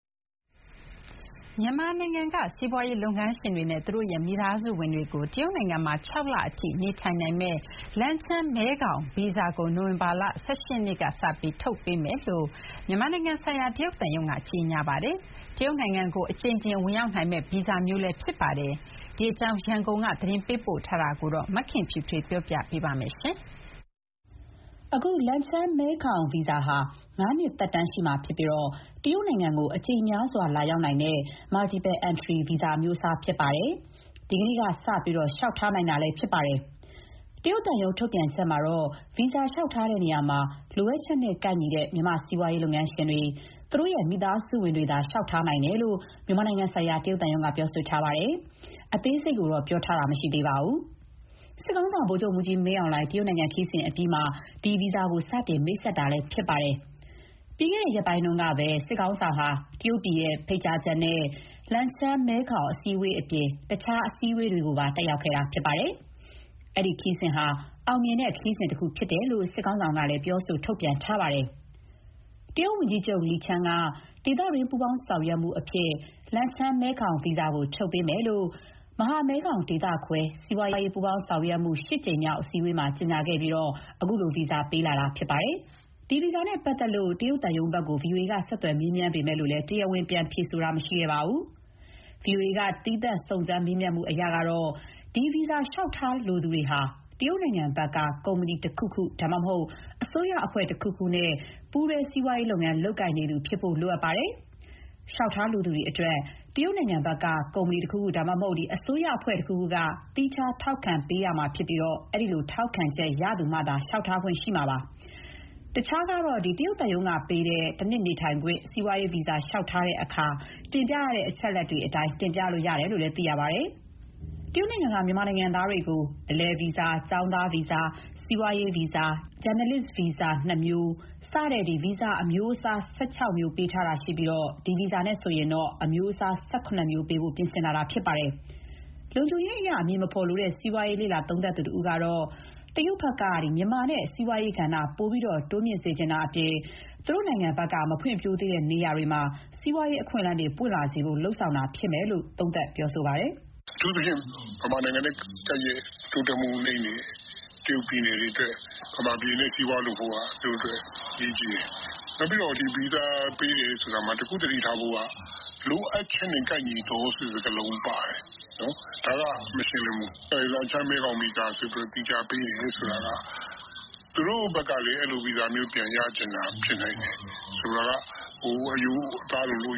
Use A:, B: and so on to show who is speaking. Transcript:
A: မြန်မာနိုင်ငံက စီးပွားရေးလုပ်ငန်းရှင်တွေနဲ့ သူတို့ရဲ့ မိသားစုဝင်တွေကို တရုတ်နိုင်ငံမှာ ခြောက်လ အထိ နေထိုင်နိုင်မဲ့ “လန်ချန်း-မဲခေါင် ဗီဇာ”ကို နိုဝင်ဘာ ၁၈ ရက်နေ့ကစပြီး ထုတ်ပေးမယ်လို့ မြန်မာနိုင်ငံဆိုင်ရာ တရုတ်သံရုံးက ကြေညာထားပါတယ်။ တရုတ်နိုင်ငံကို အကြိမ်ကြိမ် ဝင်ရောက်နိုင်မယ့်ဗီဇာမျိုးလည်း ဖြစ်ပါတယ်။ အဲဒီဗီဇာဟာ ငါ
B: းနှစ်သက်တမ်း ရှိမှာဖြစ်ပြီး တရုတ်နိုင်ငံကို အကြိမ်များစွာ လာရောက်နိုင်တဲ့ (Multiple Entry) အမျိုးအစားဖြစ်ပါတယ်။ ဒီကနေ့ကနေစတင် လျှောက်ထားနိုင်တာဖြစ်ပါတယ်။ တရုတ်သံရုံး ထုတ်ပြန်ချက်မှာတော့ဗီဇာ လျှောက်ထားရာမှာ လိုအပ်ချက်နဲ့ကိုက်ညီတဲ့ မြန်မာ စီးပွားရေးလုပ်ငန်းရှင်တွေ၊ သူတို့ရဲ့ မိသားစုဝင်တွေသာ လျှောက်ထားနိုင်တယ်လို့ မြန်မာနိုင်ငံဆိုင်ရာ တရုတ်သံရုံးက ဆိုထားပါတယ်။ အသေးစိတ်ကိုတော့ပြောဆိုထားတာမရှိပါဘူး။ စစ်ခေါင်းဆောင်ဗိုလ်ချုပ်မှုးကြီးမင်းအောင်လှိုင် တရုတ်ခရီးစဉ်အပြီးမှာ ဒီဗီဇာကို စတင်မိတ်ဆက်လာတာလည်း ဖြစ်ပါတယ်။ ပြီးခဲ့တဲ့ရက်ပိုင်းကဘဲ စစ်ခေါင်းဆောင် ဟာ တရုတ်ပြည်ဖိတ်ကြားချက်အရ လန်ချန်း မဲခေါင် အစည်းအဝေးအပြင် တခြားအစည်းအဝေးတွေပါ တက်ရောက်ခဲ့တာဖြစ်ပါတယ်။ အဲဒီခရီးစဉ်ဟာ အောင်မြင်ခဲ့တဲ့ ခရီးစဉ်တခုဖြစ်တယ်လို့ စစ်ခေါင်းဆောင်ဘက်က ပြောဆိုထုတ်ပြန်ထားပါတယ်။ တရုတ်ဝန်ကြီးချုပ် လီချန်းက ဒေသတွင်း ပူးပေါင်းဆောင်ရွက်မှုအဖြစ် “လန်ချန်း-မဲခေါင် ဗီဇာ”ကို ထုတ်ပေးမယ်လို့ မဟာမဲခေါင်ဒေသခွဲ စီးပွားရေး ပူးပေါင်းဆောင်ရွက်မှု ရှစ်ကြိမ်မြောက် အစည်းအဝေးမှာ ကြေညာခဲ့ပြီးခုလို ဗီဇာပေးလာတာဖြစ်ပါတယ်။ ဒီဗီဇာနဲ့ပတ်သတ်လို့ တရုတ်သံရုံးဘက်ကို ဗွီအိုအေက ဆက်သွယ်မေးမြန်းပေမယ့် တရားဝင်ပြန်ဖြေတာမရှိခဲ့ပါဘူး။ ဗွီအိုအေဘက်က သီးသန့်စုံစမ်းမေးမြန်း မှုအရကတော့ ဒီဗီဇာလျှောက်ထားလိုသူတွေဟာ တရုတ်နိုင်ငံဘက်က ကုမ္ပဏီ တခုခု ဒါမှမဟုတ် အစိုးရအဖွဲ့တခုခုနဲ့ပူးတွဲ စီးပွားရေးလုပ်ငန်းလုပ်ကိုင်နေသူ ဖြစ်ဖို့လိုအပ်ပါတယ်။ လျှောက်ထားလိုသူတွေအတွက် တရုတ်နိုင်ငံဘက်က ကုမ္ပဏီ တခုခုဒါမှမဟုတ် အစိုးရအဖွဲ့တခုခုက သီးခြား ထောက်ခံပေးရမှာဖြစ်ပြီး အဲလိုထောက်ခံချက်ရသူမှာသာလျှောက်ထားခွင့်ပြုမှာဖြစ်ပါတယ်။ တခြားကတော့ တရုတ်သံရုံးကပေးတဲ့ ၁နှစ်နေထိုင်ခွင့် စီးပွားရေးဗီဇာ လျှောက်ထားတဲ့ အခါတင်ပြရတဲ့အချက်အလက်တွေ အတိုင်းတင်ပြရတယ်လို့ သိရပါတယ်။ တရုတ်နိုင်ငံက မြန်မာနိုင်ငံသားတွေကို အလည်ဗီဇာ၊ ကျောင်းသားဗီဇာ၊ စီးပွားရေးဗီဇာ၊ ဂျာနယ်လစ်ဗီဇာ ၂မျိုး စတဲ့ ဗီဇာအမျိုးအစား ၁၆မျိုးပေးတာရှိပြီး အခုဗီဇာနဲ့ဆို အမျိုးအစား ၁၇ မျိုးပေးဖို့ ပြင်ဆင်လာတာဖြစ်ပါတယ်။ လုံခြုံရေးအရ အမည်မဖော်လိုတဲ့ စီးပွားရေးလေ့လာသုံးသပ်သူ တစ်ဦးကတော့ တရုတ်ဘက်က မြန်မာနဲ့ စီးပွားရေးကဏ္ဍ ပိုပြီးတိုးမြင့်စေချင်တာအပြင်၊ သူတို့ နိုင်ငံဘက်ကမဖွံဖြိုးသေးတဲ့နေရာတွေမှာ စီးပွားရေးအခွင့်အလမ်းပွင့်လာစေဖို့ လုပ်ဆောင်တာဖြစ်မယ်လို့ သူကသုံးသပ်ပါတယ်။
C: “အထူးသဖြင့် မြန်မာနိုင်ငံနဲ့ကပ်လျက် တိုးတက်မှုနိမ့်တဲ့ တရုတ်ပြည်သူတွေအတွက် မြန်မာပြည်နဲ့စီးပွားရေးလုပ်ဖို့က သူတို့အတွက်အရေးကြီးတယ်။ ဗီဇာပေးတာ မှာတခုသတိထားဖို့က လိုအပ်ချက်နဲ့ကိုက်ညီသောဆိုတာပါတယ် ဒါကမရှင်းလင်းဘူး လန်ချန်းမဲခေါင်ဗီဇာပေးတယ်ဆိုတာက သူတို့ဘက်ကလည်းဒီလိုဗီဇာ ရချင်တာလည်းဖြစ်နိုင်တယ်။ ဆိုလိုတာက အသားလိုလို့